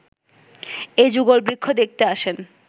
এই যুগলবৃক্ষ দেখতে আসেন